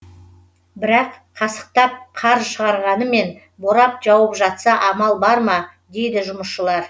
бірақ қасықтап қар шығарғанымен борап жауып жатса амал бар ма дейді жұмысшылар